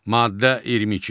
Maddə 22.